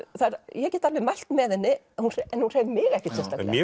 ég get alveg mælt með henni en hún hreif mig ekkert sérstaklega